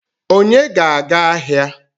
Onye ga-aga ahịa?